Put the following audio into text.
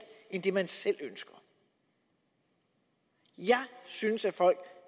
end det man selv ønsker jeg synes at folk